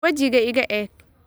wejiga iga eeg